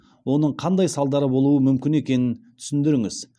оның қандай салдары болуы мүмкін екенін түсіндіріңіз